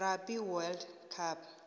rugby world cup